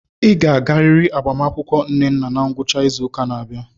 Ị ga-agarịrị agbamakwụkwọ Nnanna na ngwụcha izu ụka na-abịa.